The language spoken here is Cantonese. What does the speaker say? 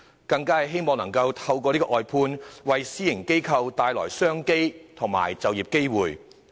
政府更希望透過外判，為私營機構帶來商機和就業機會。